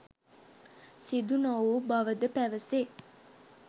සිදු නොවූ බවද පැවසේ.